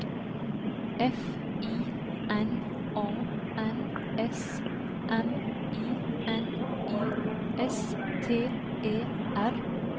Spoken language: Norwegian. F I N A N S M I N I S T E R